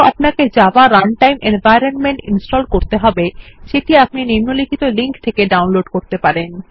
আপনাকে Java runtime environment install করতে হবে যেটি আপনি নিম্নলিখিত লিঙ্ক থেকে ডাউনলোড করতে পারেন